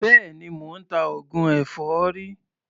Béèni, mò ń ta oògùn èfọ́rí.